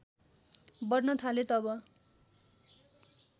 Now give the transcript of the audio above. बढ्न थाले तब